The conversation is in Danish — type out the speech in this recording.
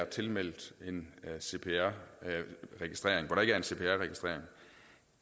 tilmeldt cpr registeret